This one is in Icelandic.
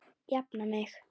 Jafna mig!